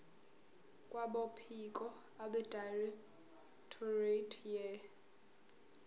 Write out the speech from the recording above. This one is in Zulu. kwabophiko abedirectorate ye